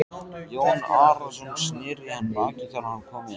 Jón Arason sneri í hann baki þegar hann kom inn.